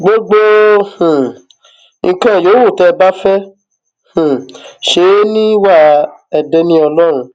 gbogbo um nǹkan yòówù tẹ ẹ bá fẹẹ um ṣe é ní wà ẹ dé ní ọlọrun